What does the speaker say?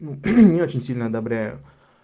ну не очень сильно одобряю